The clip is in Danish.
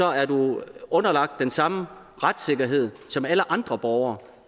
er du underlagt den samme retssikkerhed som alle andre borgere